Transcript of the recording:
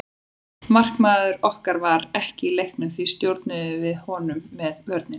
Markmaður okkar var ekki í leiknum því við stjórnuðum honum með vörninni.